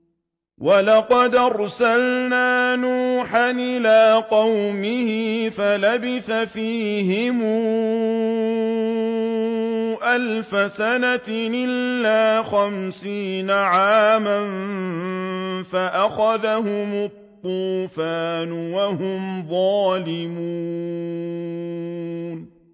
وَلَقَدْ أَرْسَلْنَا نُوحًا إِلَىٰ قَوْمِهِ فَلَبِثَ فِيهِمْ أَلْفَ سَنَةٍ إِلَّا خَمْسِينَ عَامًا فَأَخَذَهُمُ الطُّوفَانُ وَهُمْ ظَالِمُونَ